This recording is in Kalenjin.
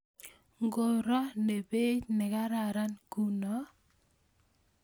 Nguro ne beit nekararan kuno?